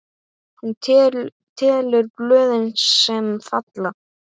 Hún telur blöðin, sem falla.